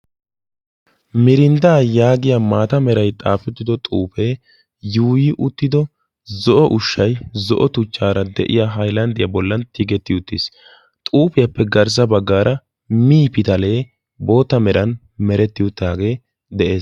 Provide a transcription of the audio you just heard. mirindday yaagiyaa maata meray xaafetido xuufe yuuyyi uttido zo'o ushshay zo''o tuchchaara de'iyaa haylanddiya bollan tiggetti uttiis, xuufiyappe garssa baggaara mii pitalee xaafetti uttaagee de'ees.